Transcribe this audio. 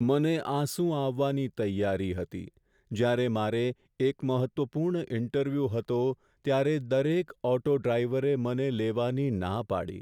મને આંસુ આવવાની તૈયારી હતી જ્યારે મારે એક મહત્ત્વપૂર્ણ ઇન્ટરવ્યૂ હતો ત્યારે દરેક ઓટો ડ્રાઈવરે મને લેવાની ના પાડી.